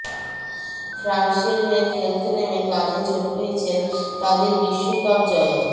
ফ্রান্সের হয়ে খেলতে নেমে কাঁধে চোট পেয়েছেন তাদের বিশ্বকাপ জয়ের